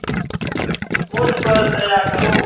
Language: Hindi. मुझ पर दया करो